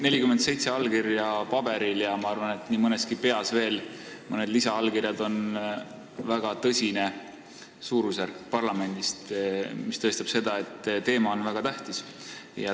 47 allkirja paberil ja ma arvan, et nii mõneski peas veel mõned lisaallkirjad – see on väga tõsine suurusjärk parlamendis, mis näitab, et teema on väga tähtis.